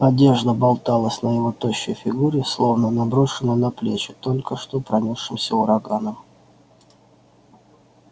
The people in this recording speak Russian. одежда болталась на его тощей фигуре словно наброшенная на плечи только что пронёсшимся ураганом